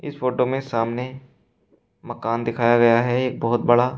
Photo में सामने मकान दिखाया गया है एक बहुत बड़ा।